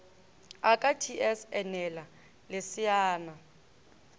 a ka ts enela leseana